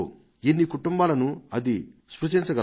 ఎన్ని కుటుంబాలను అది స్పృశించగలదో